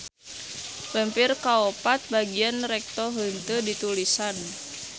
Lempir kaopat bagian recto henteu ditulisan.